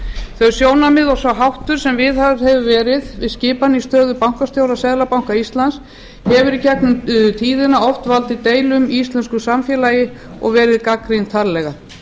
þau sjónarmið og sá háttur sem viðhöfð hefur verið við skipan í stöðu bankastjóra seðlabanka íslands hefur í gegnum tíðina oft valdið deilum í íslensku samfélagi og verið gagnrýnd harðlega